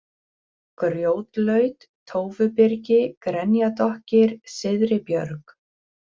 Grjótlaut, Tófubyrgi, Grenjadokkir, Syðribjörg